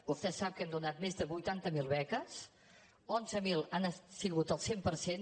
vostè sap que hem donat més de vuitanta mil beques onze mil han sigut al cent per cent